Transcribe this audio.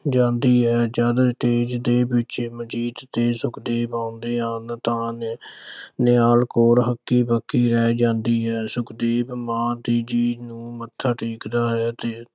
ਜਾਂਦੀ ਹੈ। ਜਦ ਦੇ ਪਿੱਛੇ ਮਨਜੀਤ ਤੇ ਸੁਖਦੇਵ ਆਉਂਦੇ ਹਨ ਤਾਂ ਨਿਹਾਲ ਕੌਰ ਹੱਕੀ-ਬੱਕੀ ਰਹਿ ਜਾਂਦੀ ਹੈ। ਸੁਖਦੇਵ ਮਾਂ ਜੀ ਨੂੰ ਮੱਛਾ ਟੇਕਦਾ ਹੈ ਤੇ